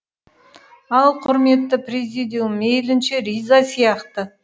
ал құрметті президиум мейлінше риза сияқты